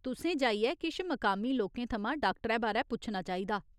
तुसें जाइयै किश मकामी लोकें थमां डाक्टरै बारै पुच्छना चाहिदा।